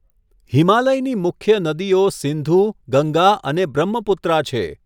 હિમાલયની મુખ્ય નદીઓ સિંધુ, ગંગા અને બ્રહ્મપુત્રા છે.